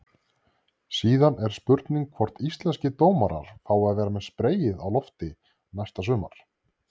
Síðan er spurning hvort íslenskir dómarar fái að vera með spreyið á lofti næsta sumar?